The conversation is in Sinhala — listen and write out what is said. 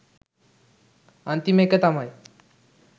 අන්තිම එක තමයි